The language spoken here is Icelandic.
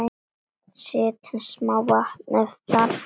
Settu smá vatn ef þarf.